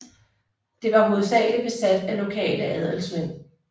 Det var hovedsageligt besat af lokale adelsmænd